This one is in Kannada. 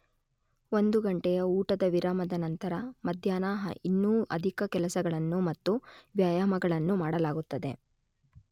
ಒಂದು ಘಂಟೆಯ ಊಟದ ವಿರಾಮದ ನಂತರ ಮಧ್ಯಾಹ್ನ ಇನ್ನೂ ಅಧಿಕ ಕೆಲಸಗಳನ್ನು ಮತ್ತು ವ್ಯಾಯಾಮಗಳನ್ನು ಮಾಡಲಾಗುತ್ತದೆ.